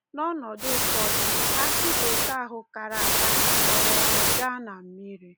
N’ọnọdụ ụfọdụ, akị bekee ahụ kara aka na-akpọrere gaa na mmiri.